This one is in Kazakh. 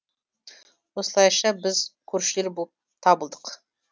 осылайша біз көршілер боп табылдық